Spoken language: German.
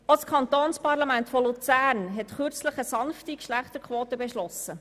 Auch das Kantonsparlament Luzern hat vor kurzem eine sanfte Geschlechterquote beschlossen.